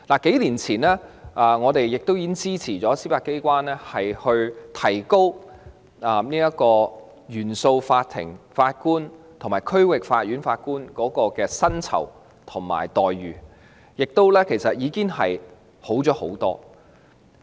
數年前，我們支持司法機關改善原訟法庭法官及區域法院法官的薪酬和待遇，現時情況已大有改善。